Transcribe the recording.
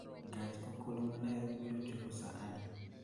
Gach okolo ma Nairobi biro chopo saa adi?